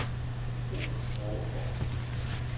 Robert Overgaard